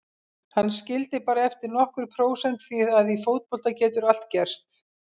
Hann skildi bara eftir nokkur prósent því að í fótbolta getur allt gerst.